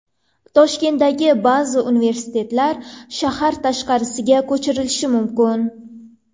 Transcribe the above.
Toshkentdagi ba’zi universitetlar shahar tashqarisiga ko‘chirilishi mumkin.